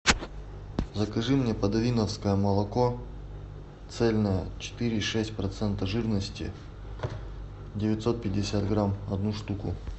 закажи мне подовинновское молоко цельное четыре и шесть процента жирности девятьсот пятьдесят грамм одну штуку